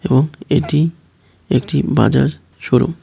এবং এটি একটি বাজার শোরুম ।